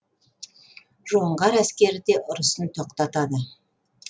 жоңғар әскері де ұрысын тоқтатады